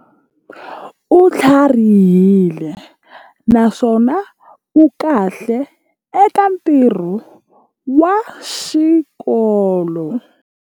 U tlharihile naswona u kahle eka ntirho wa xikolo.